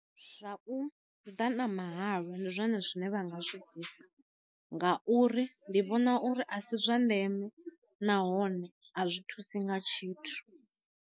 Zwa u ḓa na mahalwa ndi zwone zwine vha nga zwi bvisa, nga uri ndi vhona uri a si zwa ndeme nahone a zwi thusi nga tshithu.